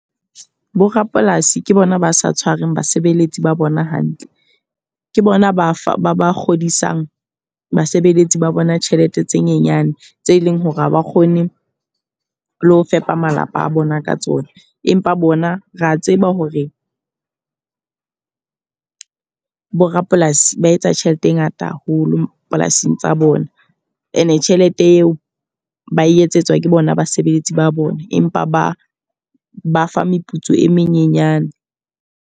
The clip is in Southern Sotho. Bo rapolasi ke bona ba sa tshwareng basebeletsi ba bona hantle. Ke bona ba fa ba ba kgodisang basebeletsi ba bona tjhelete tse nyenyane, tse leng hore ha ba kgone le ho fepa malapa a bona ka tsona. Empa bona re a tseba hore borapolasi ba etsa tjhelete e ngata haholo polasing tsa bona. E ne tjhelete eo ba e etsetswa ke bona basebeletsi ba bona, empa ba ba fa meputso e menyenyana.